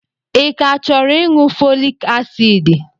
Ị ka chọrọ ịṅụ fọlik asiidi?